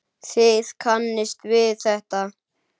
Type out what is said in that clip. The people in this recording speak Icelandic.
Þið kannist við þetta.